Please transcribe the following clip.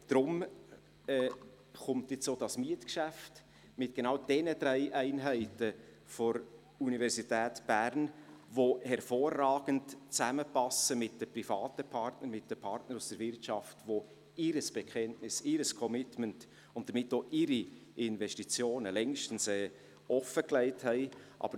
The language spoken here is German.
Deshalb kommt sie mit diesem Mietgeschäft mit genau denjenigen drei Einheiten der Universität Bern, welche hervorragend mit den privaten Partnern zusammenpassen, mit den Partnern aus der Wirtschaft, die ihr Bekenntnis, ihr Commitment und damit auch ihre Investitionen längst offengelegt haben.